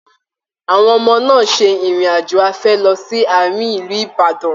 Àwọn ọmọ náà se irin-ajo afẹ̀ lọ sí Àárín ilú Ìbàdàn.